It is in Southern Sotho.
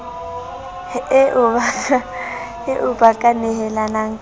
eo ba ka nehelanang ka